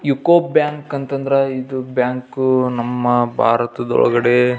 UCO bank ಅಂಥ ಅಂದ್ರ ಇದು ಬ್ಯಾಂಕು ನಮ್ಮ ಭಾರತದ ಒಳಗಡೆ --